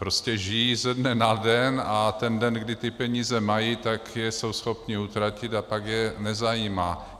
Prostě žijí ze dne na den a ten den, kdy ty peníze mají, tak je jsou schopni utratit a pak je nezajímá.